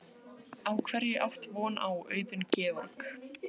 Jóhann Hlíðar Harðarson: Á hverju átt von á, Auðun Georg?